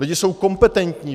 Lidé jsou kompetentní.